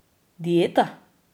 Dieta?